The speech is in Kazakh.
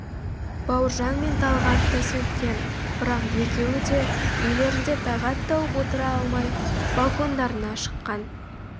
бауыржан мен талғат та сөйткен бірақ екеуі де үйлерінде тағат тауып отыра алмай балкондарына шыққан